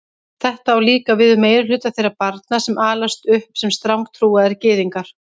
Þetta á líka við um meirihluta þeirra barna sem alast upp sem strangtrúaðir gyðingar.